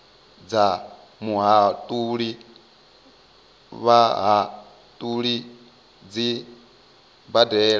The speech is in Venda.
dza muhatuli vhahatuli dzi badelwa